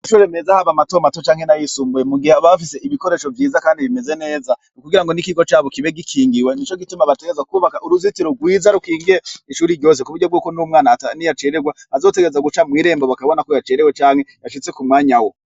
Shure meza haba matomato canke na yisumbuye mugihe abafise ibikoresho vyiza, kandi bimeze neza ukugira ngo n'ikigo cabo kibe gikingiwe ni co gituma bateza kwubaka uruzitiro rwiza rukigiye ishuri ryose ku buryo bwokun'umwana atani yacererwa azotegerza guca mw'irembo bakabona ko yacerewe canke yashitse ku mwanya wo.